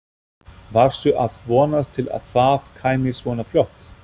Varstu að vonast til að það kæmi svona fljótt?